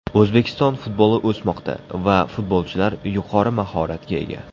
O‘zbekiston futboli o‘smoqda va futbolchilar yuqori mahoratga ega.